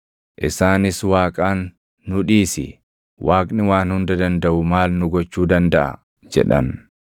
Isaanis Waaqaan, ‘Nu dhiisi! Waaqni Waan Hunda Dandaʼu maal nu gochuu dandaʼa?’ jedhan.